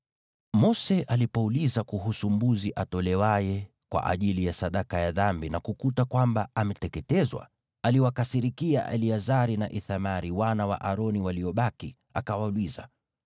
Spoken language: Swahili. Mose alipouliza kuhusu mbuzi atolewaye kwa ajili ya sadaka ya dhambi, na kukuta kwamba ameteketezwa, aliwakasirikia Eleazari na Ithamari, wana wa Aroni waliobaki, akawauliza,